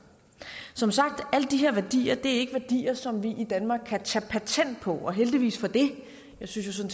som sagt er alle de her værdier ikke værdier som vi i danmark kan tage patent på og heldigvis for det jeg synes jo